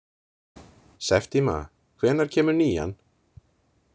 Septíma, hvenær kemur nían?